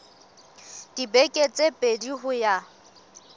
dibeke tse pedi ho ya